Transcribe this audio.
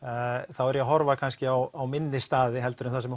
þá er ég að horfa kannski á minni staði heldur en það sem